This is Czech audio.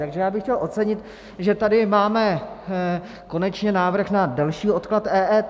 Takže já bych chtěl ocenit, že tady máme konečně návrh na delší odklad EET.